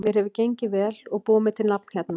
Mér hefur gengið vel og búið mér til nafn hérna.